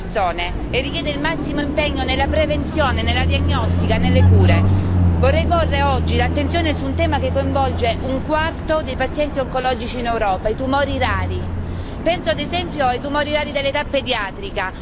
È una sfida da cui dipende la speranza di vita di tante persone e richiede il massimo impegno nella prevenzione, nella diagnostica e nelle cure. Vorrei porre oggi l'attenzione su un tema che coinvolge un quarto dei pazienti oncologici in Europa i tumori rari.